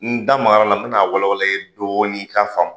N da magara a la, n bina a wala wala i ye dɔɔnin i ka faamu